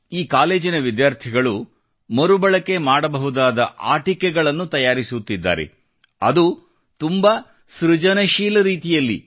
ಈ ಕಾಲೇಜಿನ ವಿದ್ಯಾರ್ಥಿಗಳು ಮರುಬಳಕೆ ಮಾಡಬಹುದಾದ ಆಟಿಕೆಗಳನ್ನು ತಯಾರಿಸುತ್ತಿದ್ದಾರೆ ಅದೂ ತುಂಬಾ ಸೃಜನಶೀಲ ರೀತಿಯಲ್ಲಿ